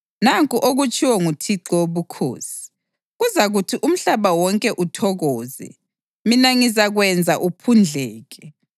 Nanku okutshiwo nguThixo Wobukhosi: Kuzakuthi umhlaba wonke uthokoze, mina ngizakwenza uphundleke.